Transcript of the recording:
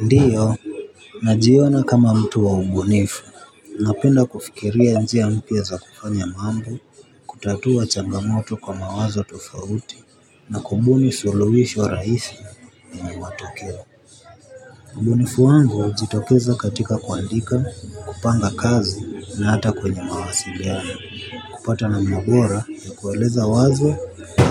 Ndio najiona kama mtu wa ubunifu. Napenda kufikiria njia mpya za kufanya mambo. Kutatua changamoto kwa mawazo tofauti na kubuni suluhisho rahisi yenye matokeo. Ubunifu wangu hujitokeza katika kuandika, kupanga kazi na hata kwenye mawasiliano. Kupata namna bora ya kueleza wazo